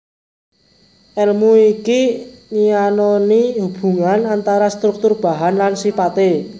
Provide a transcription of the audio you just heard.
Èlmu iki nyinaoni hubungan antara struktur bahan lan sipaté